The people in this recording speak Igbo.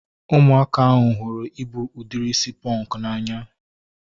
Ụmụaka ahụ hụrụ ịbụ udiri isi pọnkụ n'anya